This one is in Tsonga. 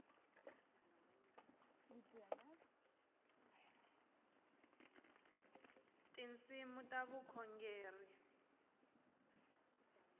tinsimu ta vukhongeri